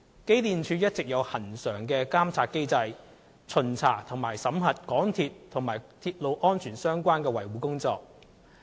機電署一直有恆常的監察機制，巡查及審核港鐵與鐵路安全相關的維修保養工作。